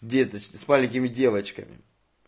деточки с маленькими девочками